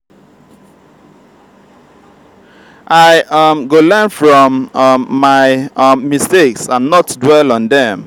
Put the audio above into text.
i um go learn from um my um mistakes and not dwell on dem.